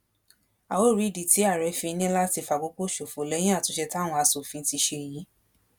a ó rí ìdí tí àárẹ fi ní láti fàkókò ṣòfò lẹyìn àtúnṣe táwọn asòfin ti ṣe yìí